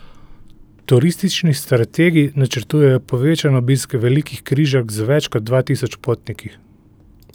Turistični strategi načrtujejo povečan obisk velikih križark z več kot dva tisoč potniki.